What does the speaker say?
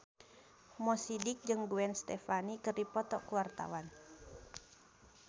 Mo Sidik jeung Gwen Stefani keur dipoto ku wartawan